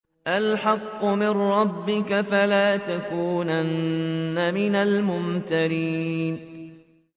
الْحَقُّ مِن رَّبِّكَ ۖ فَلَا تَكُونَنَّ مِنَ الْمُمْتَرِينَ